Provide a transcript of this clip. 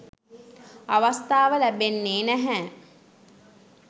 අවස්ථාව ලැබෙන්නෙ නැහැ.